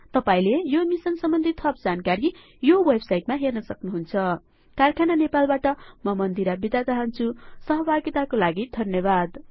तपाइले यो मिसन सम्बन्धी थप जानकारी यो वेब साइट मा हेर्न सक्नुहुन्छ कारखाना नेपाल बाट म मन्दिरा थापा बिदा चाहन्छु सहभागिता को लागि धन्यवाद